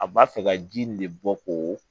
A b'a fɛ ka ji nin de bɔ k'o